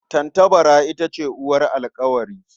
Tattabara ita ce uwar alƙawari.